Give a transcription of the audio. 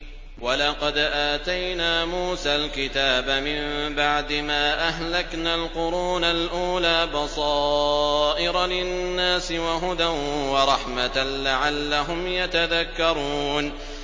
وَلَقَدْ آتَيْنَا مُوسَى الْكِتَابَ مِن بَعْدِ مَا أَهْلَكْنَا الْقُرُونَ الْأُولَىٰ بَصَائِرَ لِلنَّاسِ وَهُدًى وَرَحْمَةً لَّعَلَّهُمْ يَتَذَكَّرُونَ